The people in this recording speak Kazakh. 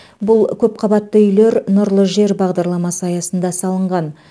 бұл көпқабатты үйлер нұрлы жер бағдарламасы аясында салынған